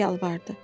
deyə yalvardı.